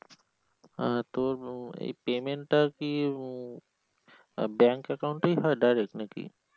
তোর এই payment টা কি উম bank account direct নাকি?